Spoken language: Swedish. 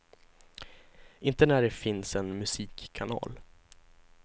Inte när det finns en musikkanal.